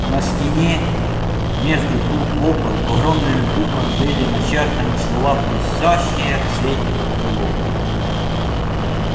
на стене между двух окон огромными буквами были начертаны слова блестящие в свете факелов